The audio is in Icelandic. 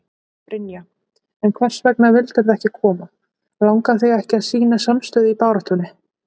Brynja: En hvers vegna vildirðu ekki koma, langar þig ekki að sýna samstöðu í baráttunni?